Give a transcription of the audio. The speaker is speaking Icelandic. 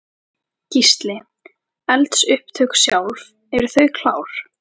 Gísli: Eldsupptök sjálf, eru þau klár?